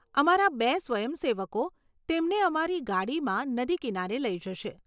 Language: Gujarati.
અમારા બે સ્વયંસેવકો તેમને અમારી ગાડીમાં નદી કિનારે લઈ જશે.